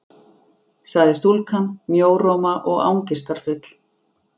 sagði stúlkan, mjóróma og angistarfull.